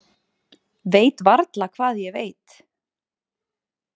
Veit varla hvað ég veit.